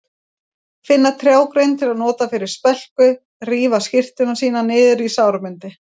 Finna trjágrein til að nota fyrir spelku, rífa skyrtuna sína niður í sárabindi.